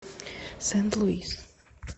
сент луис